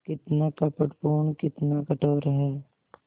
कितना कपटपूर्ण कितना कठोर है